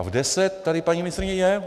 A v deset tady paní ministryně je.